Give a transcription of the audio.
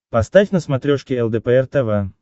поставь на смотрешке лдпр тв